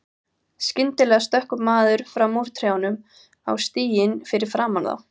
Skyndilega stökk maður fram úr trjánum á stíginn fyrir framan þá.